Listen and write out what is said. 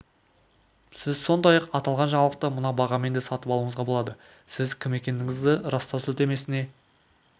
сіз сондай-ақ аталған жаңалықты мына бағамен де сатып алуыңызға болады сіз кім екендігіңізді растау сілтемесіне